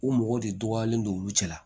U mɔgɔ de dɔgɔyalen don olu cɛ la